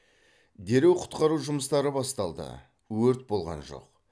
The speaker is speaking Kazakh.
дереу құтқару жұмыстары басталды өрт болған жоқ